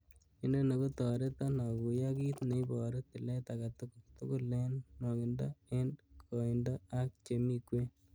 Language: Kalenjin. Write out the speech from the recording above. Inoni kotoreton akuyo kit neiboru tilet agetugul, tugul en nwokindo, en koindo ak chemi kwen.